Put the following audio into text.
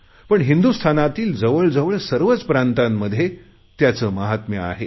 पण हिंदुस्तानातील जवळजवळ सर्वच प्रांतांमध्ये त्याचे महात्म्य आहे